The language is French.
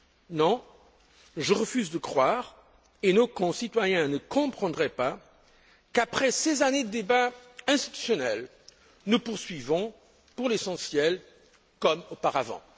Non, je refuse de croire et nos concitoyens ne comprendraient pas qu'après ces années de débats institutionnels, nous poursuivions, pour l'essentiel, comme auparavant.